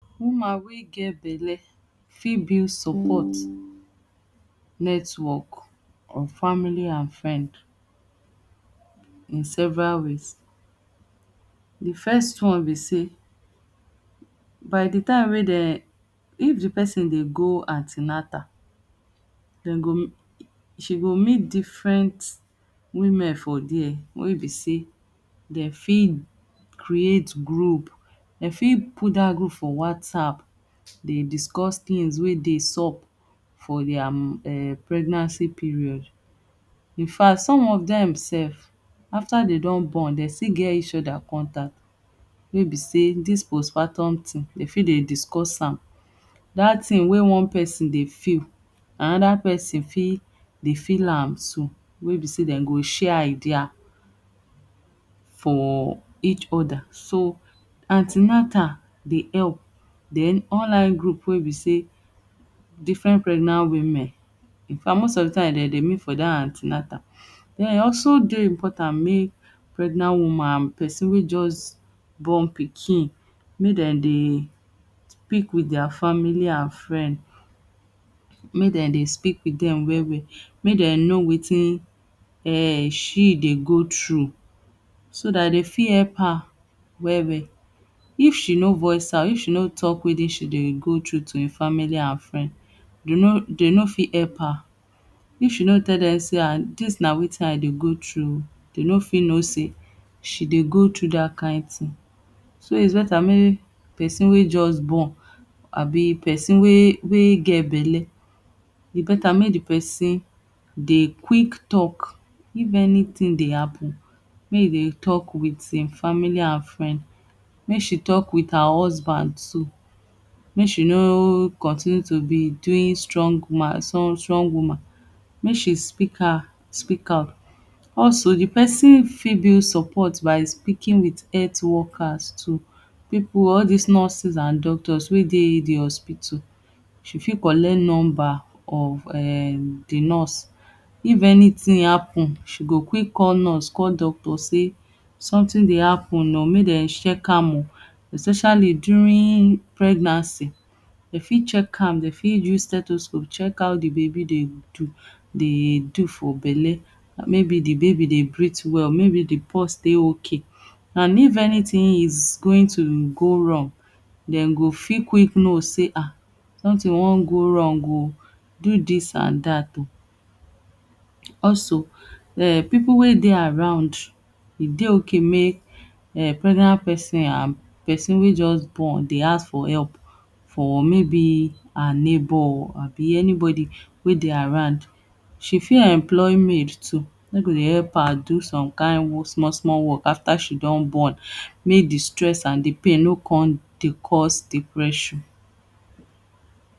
Woman wey get belle fit build support [tone] network of family and friends in several ways. Di first one be say by di time wey dem if di pesin dey go an ten atal dem go she go meet different women for dia wey be say dem fit create group dem fit put dat group for whatsapp dey discuss tins wey dey sup for dia um pregnancy period. In fact some of dem self after dem don born dem still get each oda contact way be say dis postpartum tin dem fit dey discuss am, dat tin wey one pesin dey feel anoda pesin fit dey feel am too wey be say dem go share idea for each oda so an ten atal dey help den online group wey be say different pregnant women in fact most of di time dem dey wait for dat an ten atal. Den e also dey important make pregnant woman and pesin wey just born pikin make dem dey speak wit dia family and friends make dem dey speak wit dem well well, make dem know watin um she dey go through so dat dey fit help her well well if she no voice out if she no talk watin she dey go through to e family and friend dey no dey no fit help her if she no tell dem say ah dis na watin I dey go through dey no fit know say she dey go through dat kain tin so its beta make person wey just born abi pesin wey wey get bele e beta make di pesin dey quick talk if anytin dey happen make e dey talk wit him family and friends. Make she talk wit her husband too, make she no continue to be doing strong woman strong woman make she speak ah speak out also di pesin fit build support by speaking wit health workers too pipu all dis nurses and doctors wey dey in di hospital she fit collect number of di nurse if anytin happen she go quick call nurse call doctor say sometin dey happen make dem check am o especially during pregnancy dem fit check am dem fit us stethoscope check now di baby dey do dey do for belle maybe di baby dey breath well maybe di pulse dey okay and if anytin is going to go wrong dem go fit quick know say ah something wan go wrong o do dis and dat oh. Also pipu wey dey around e dey okay make pregnant pesin and pesin wey just born dey ask for help for maybe her neighbor and anybody wey dey around she fit employ maid too wey go dey help her do some kain small small work after she don born make di stress and di pain no come dey cause depression